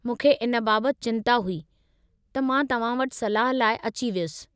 मूंखे इन बाबतु चिंता हुई, त मां तव्हां वटि सलाह लाइ अची वयुसि।